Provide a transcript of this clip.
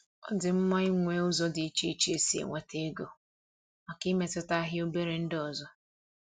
Ọ dị mma ịnwe ụzọ dị iche iche esi enweta ego màkà imetụta ahịa obere ndị ọzọ